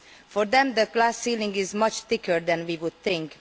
For them the glass ceiling is much thicker than we would think.